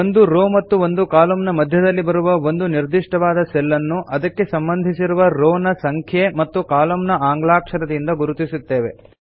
ಒಂದು ರೋ ಮತ್ತು ಒಂದು ಕಾಲಂ ನ ಮಧ್ಯದಲ್ಲಿ ಬರುವ ಒಂದು ನಿರ್ದಿಷ್ಟವಾದ ಸೆಲ್ ಅನ್ನು ಅದಕ್ಕೆ ಸಂಬಂಧಿಸಿರುವ ರೋ ನ ಸಂಖ್ಯೆ ಮತ್ತು ಕಾಲಂ ನ ಆಂಗ್ಲಾಕ್ಷರದಿಂದ ಗುರುತಿಸಲ್ಪಡುತ್ತದೆ